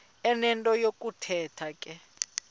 enento yokuthetha ke